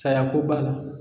Sayako b'a la